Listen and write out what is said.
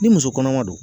Ni muso kɔnɔma don